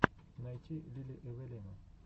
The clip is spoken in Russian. найти лили эвелину